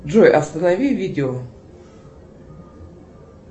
джой останови видео